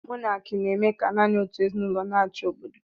Mọnaki na-eme ka nanị otú ezinụlọ n'achi obodo